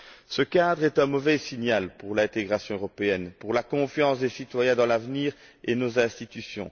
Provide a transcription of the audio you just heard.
Ce cadre est un mauvais signal pour l'intégration européenne, pour la confiance des citoyens dans l'avenir et dans nos institutions.